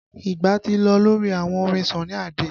Ìgbà ti lọ lórí àwọn orin Sunny Ade